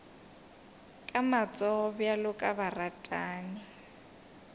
ka matsogo bjalo ka baratani